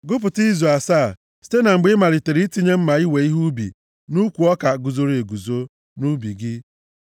Gụpụta izu asaa site na mgbe ị malitere itinye mma iwe ihe ubi nʼukwu ọka guzoro eguzo nʼubi gị.